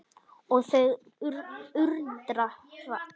Og það undra hratt.